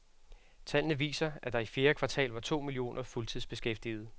Tallene viser, at der i fjerde kvartal var to millioner fuldtidsbeskæftigede.